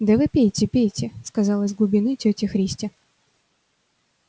да вы пейте пейте сказала из глубины тётя христя